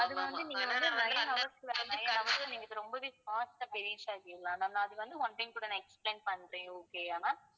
அது வந்து நீங்க வந்து nine hours ல வந்து நீங்க இதை ரொம்பவே fast ஆ போய் reach ஆயிடுவீங்க ma'am நான் அது வந்து one time கூட நான் explain பண்றேன் okay யா ma'am